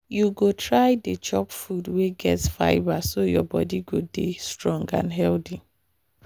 you go try dey chop food wey get fibre so your body go dey strong and healthy.